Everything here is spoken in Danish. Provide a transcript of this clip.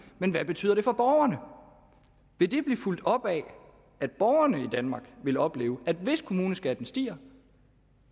men hvad betyder det for borgerne vil det blive fulgt op af at borgerne i danmark vil opleve at de hvis kommuneskatten stiger